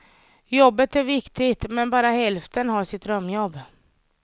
Jobbet är viktigt, men bara hälften har sitt drömjobb.